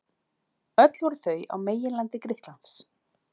Öll voru þau á meginlandi Grikklands.